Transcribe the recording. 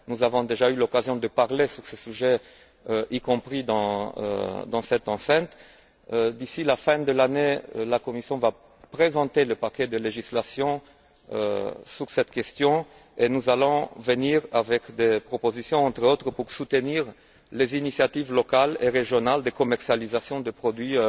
Nous avons déjà eu l'occasion de parler de ce sujet, y compris dans cette enceinte. D'ici la fin de l'année, la Commission va présenter le paquet de législation sur cette question et nous allons présenter des propositions, entre autres, pour soutenir les initiatives locales et régionales de commercialisation de produits